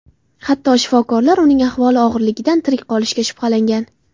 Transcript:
Hatto shifokorlar uning ahvoli og‘irligidan tirik qolishiga shubhalangan.